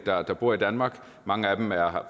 der bor i danmark mange af dem er